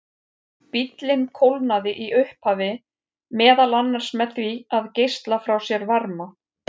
Bíllinn kólnaði í upphafi meðal annars með því að geisla frá sér varma.